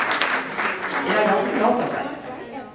Jeg er ganske lat av meg.